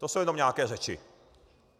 To jsou jenom nějaké řeči.